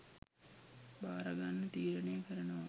භාරගන්න තීරණය කරනවා